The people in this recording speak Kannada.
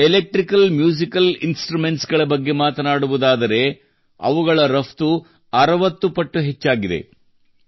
ಎಲೆಕ್ಟ್ರಿಕಲ್ ಮ್ಯೂಸಿಕಲ್ ಇನ್ಸ್ಟ್ರುಮೆಂಟ್ಸ್ ಗಳ ಬಗ್ಗೆ ಮಾತನಾಡುವುದಾದರೆ ಅವುಗಳ ರಫ್ತು 60 ಪಟ್ಟು ಹೆಚ್ಚಾಗಿದೆ